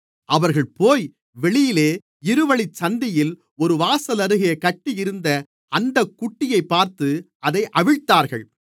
அவர்கள்போய் வெளியே இருவழிச்சந்தியில் ஒரு வாசலருகே கட்டியிருந்த அந்தக் குட்டியைப் பார்த்து அதை அவிழ்த்தார்கள்